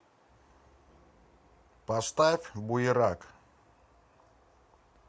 поставь буерак